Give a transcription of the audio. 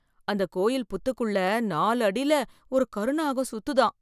அந்த கோயில் புத்துக்குள்ள நாலு அடில ஒரு கரு நாகம் சுத்துதாம்.